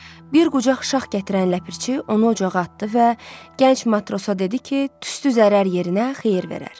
Bir qucaq şax gətirən ləpirçi onu ocağa atdı və gənc matrosa dedi ki, tüstü zərər yerinə xeyir verər.